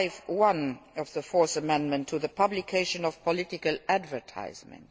5.1 of the Fourth Amendment to the publication of political advertisements.